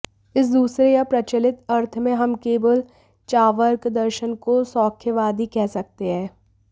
इस दूसरे या प्रचलित अर्थ में हम केवल चार्वाक दर्शन को सौख्यवादी कह सकते हैं